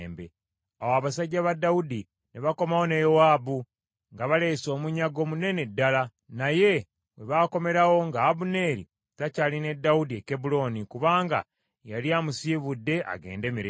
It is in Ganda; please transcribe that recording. Awo abasajja ba Dawudi ne bakomawo ne Yowaabu, nga baleese omunyago munene ddala. Naye we baakomerawo nga Abuneeri takyali ne Dawudi e Kebbulooni, kubanga yali amusiibudde agende mirembe.